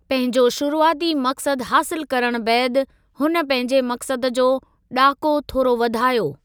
पंहिंजो शुरूआती मक़्सदु हासिलु करण बैदि, हुन पंहिंजे मक़्सद जो ॾाको थोरो वधायो।